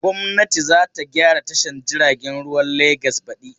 Gwamnati za ta gyara tashar jiagen ruwan Legas badi.